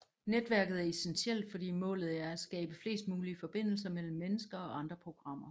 Netværket er essentielt fordi målet er at skabe flest mulige forbindelser mellem mennesker og andre programmer